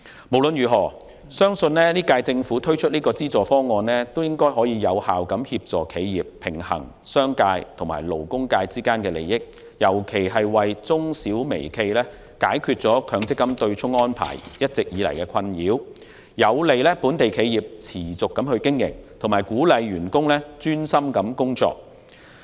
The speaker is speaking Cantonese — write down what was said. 無論如何，本屆政府推出這項資助方案相信能有效協助企業，平衡商界及勞工界之間的利益，尤其是為中小微企解決強積金對沖安排一直以來的困擾，有利本地企業持續經營及鼓勵員工專心工作。